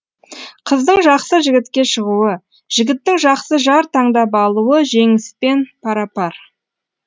қыздың жақсы жігітке шығуы жігіттің жақсы жар таңдап алуы жеңіспен пара пар